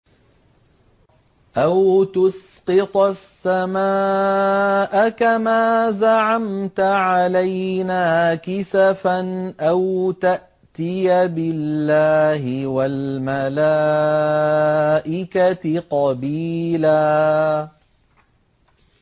أَوْ تُسْقِطَ السَّمَاءَ كَمَا زَعَمْتَ عَلَيْنَا كِسَفًا أَوْ تَأْتِيَ بِاللَّهِ وَالْمَلَائِكَةِ قَبِيلًا